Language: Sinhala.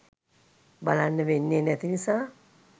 බලන්න වෙන්නේ නැති නිසා